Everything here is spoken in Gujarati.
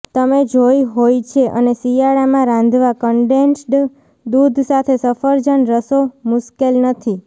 તમે જોઈ હોય છે અને શિયાળામાં રાંધવા કન્ડેન્સ્ડ દૂધ સાથે સફરજન રસો મુશ્કેલ નથી